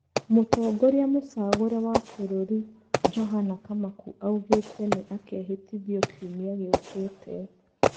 Mũtongoria mũcagũre wa bũrũri Johana Kamaku augĩte nĩ akehĩtithio kiumĩa gĩũkĩte.